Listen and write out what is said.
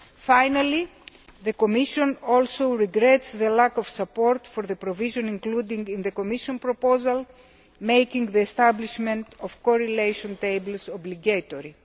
RoHS. Finally, the Commission also regrets the lack of support for the provision, including in the Commission proposal, making the establishment of correlation tables obligatory.